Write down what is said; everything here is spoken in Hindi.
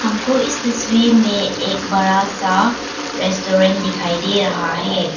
हमको इस तस्वीर में एक बड़ा सा रेस्टोरेंट दिखाई दे रहा है।